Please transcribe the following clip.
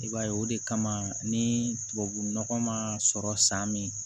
I b'a ye o de kama ni tubabu nɔgɔ ma sɔrɔ san min